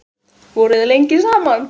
Voruð þið lengi saman?